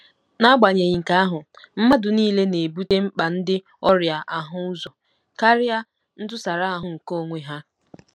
N'agbanyeghị nke ahụ, mmadụ nile na-ebute mkpa ndị ọrịa ahụ ụzọ karịa ntụsara ahụ nke onwe ha.